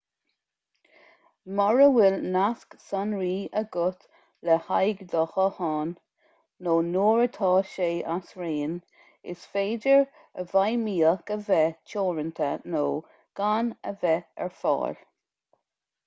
mura bhfuil nasc sonraí agat le haghaidh do ghutháin nó nuair atá sé as raon is féidir a bhfeidhmíocht a bheith teoranta nó gan a bheith ar fáil